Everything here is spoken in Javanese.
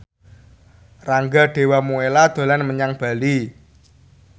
Rangga Dewamoela dolan menyang Bali